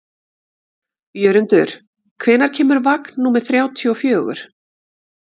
Jörundur, hvenær kemur vagn númer þrjátíu og fjögur?